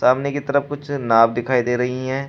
सामने की तरफ कुछ नाव दिखाई दे रही है।